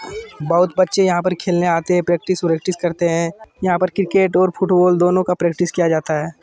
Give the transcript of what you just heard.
बहुत बच्छे यहाँ पर खेलने आते हैं प्रैक्टिस व्रकटीस करते हैं यहाँ पर क्रिकेट और फुटबाल दोनों का प्राकटीस किया जाता हैं।